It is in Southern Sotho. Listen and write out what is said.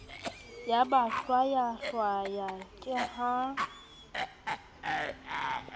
ya ba hwayahwaya ke ha